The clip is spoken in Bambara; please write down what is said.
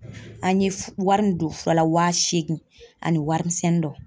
An ye wari min don fura la waa seegin ani warimisɛnnin dɔ.